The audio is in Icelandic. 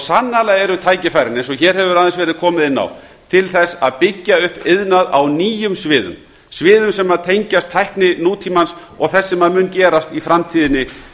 sannarlega eru tækifærin eins og hér hefur aðeins verið komið inn á til þess að byggja upp iðnað á nýjum sviðum sviðum sem tengjast tækni nútímans og þess sem mun gerast í framtíðinni